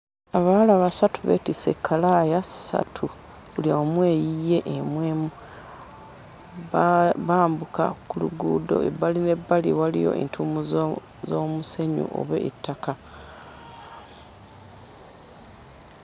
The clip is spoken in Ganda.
Abawala basatu beetisse ekkalaaya ssatu buli omu eyiye emu emu ba bambuka ku luguudo ebbali n'ebbali waliyo entuumu zo z'omusenyu oba ettaka.